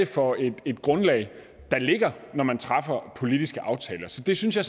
for et grundlag der ligger når man træffer politiske aftaler så det synes jeg